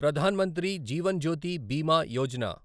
Pradhan Mantri Jeevan Jyoti Bima Yojana